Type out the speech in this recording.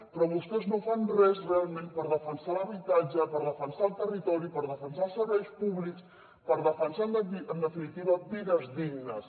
però vostès no fan res realment per defensar l’habitatge per defensar el territori per defensar els serveis públics per defensar en definitiva vides dignes